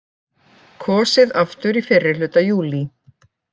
Kosið aftur í fyrrihluta júlí